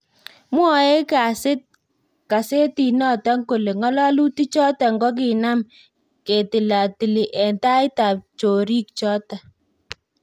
Mwaoe kasetit noton kole ngololutik choton kokinam ketilatili en taib ab chorik choto